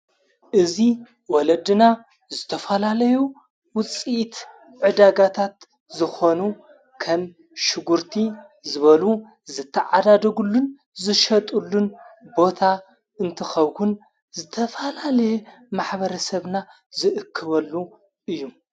እዙ ወለድና ዝተፋላለዩ ውፂት ዕዳጋታት ዝኾኑ ከም ሽጕርቲ ዝበሉ ዘተዓዳደጉሉን ዝሸጡሉን ቦታ እንትኸዉን ዝተፋላለየ ማኅበረ ሰብና ዝእክበሉ እዩ::